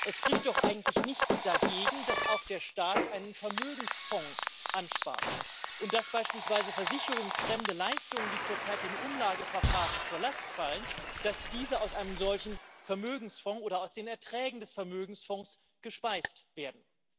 Es spricht doch eigentlich nichts dagegen, dass auch der Staat einen Vermögensfonds anspart und dass beispielsweise versicherungsfremde Leistungen, die zurzeit dem Umlageverfahren zur Last fallen, aus einem solchen Vermögensfonds oder aus den Erträgen des Vermögensfonds gespeist werden.